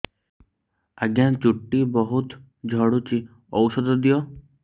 ଆଜ୍ଞା ଚୁଟି ବହୁତ୍ ଝଡୁଚି ଔଷଧ ଦିଅ